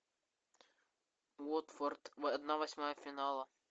уотфорд одна восьмая финала